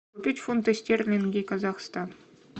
купить фунты стерлинги казахстан